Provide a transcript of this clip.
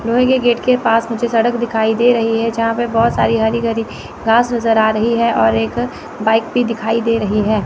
लोहे के गेट के पास मुझे सड़क दिखाई दे रही है यहां पे बहुत सारी हरी भरी घास नज़र आ रही है और एक बाइक भी दिखाई दे रही है।